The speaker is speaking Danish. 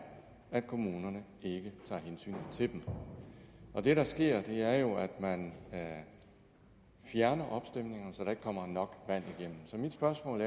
at kommunerne ikke tager hensyn til dem og det der sker er jo at man fjerner opstemninger så der ikke kommer nok vand igennem så mit spørgsmål